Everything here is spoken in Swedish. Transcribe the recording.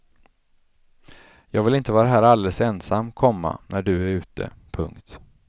Jag vill inte vara här alldeles ensam, komma när du är ute. punkt